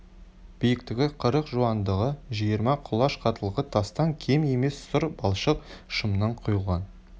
биіктігі қырық жуандығы жиырма құлаш қаттылығы тастан кем емес сұр балшық шымнан құйылған